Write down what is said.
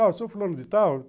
Ah, o senhor falando de tal?